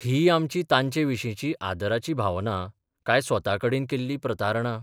ही आमची तांचे विशींची आदराची भावना , काय स्वता कडेन केल्ली प्रतारणा?